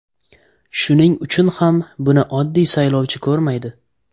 Shuning uchun ham buni oddiy saylovchi ko‘rmaydi.